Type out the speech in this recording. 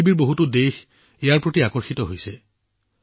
পৃথিৱীৰ বহুতো দেশ ইয়াৰ প্ৰতি আকৰ্ষিত হৈছে